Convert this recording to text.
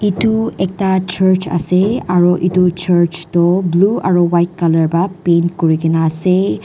itu ekta church ase aro etuh Church toh blue aro white colour pah paint kuri kena ase.